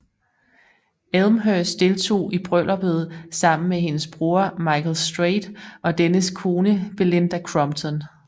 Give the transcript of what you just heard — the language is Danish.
Elmhirst deltog i brylluppet sammen med hendes bror Michael Straight og dennes kone Belinda Crompton